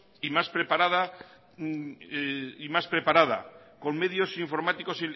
y más preparada con medios informáticos